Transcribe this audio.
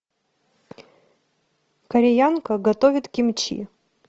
кореянка готовит кимчи